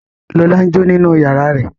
Lọlá n jó nínú yàrá rẹ̀